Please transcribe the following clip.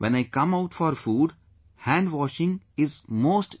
When I come out for food, hand washing is most important